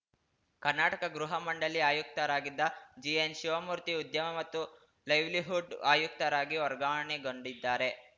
ಕರ್ನಾಟಕ ಗೃಹ ಮಂಡಳಿ ಆಯುಕ್ತರಾಗಿದ್ದ ಜಿಎನ್‌ ಶಿವಮೂರ್ತಿ ಉದ್ಯಮ ಮತ್ತು ಲೈವ್ಲಿಹುಡ್‌ ಆಯುಕ್ತರಾಗಿ ವರ್ಗಾವಣೆಗೊಂಡಿದ್ದಾರೆ